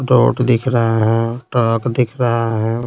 Dot दिख रहा है ट्रक दिख रहा है।